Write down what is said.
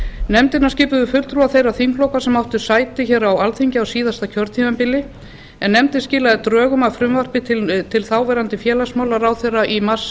nefndina skipuðu fulltrúar þeirra þingflokka sem áttu sæti hér á alþingi á síðasta kjörtímabili en nefndin skilaði drögum að frumvarpi til þáv félagsmálaráðherra í mars